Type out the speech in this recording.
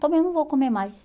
Também não vou comer mais.